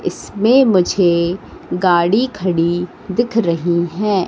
इसमें मुझे गाड़ी खड़ी दिख रही है।